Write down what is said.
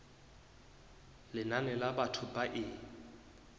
lenane la batho ba e